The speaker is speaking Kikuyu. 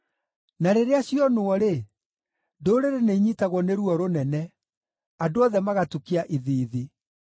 Na rĩrĩa cionwo-rĩ, ndũrĩrĩ nĩinyiitagwo nĩ ruo rũnene; andũ othe magatukia ithiithi.